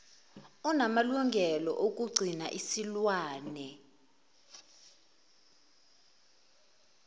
onamalungelo okugcina isilwane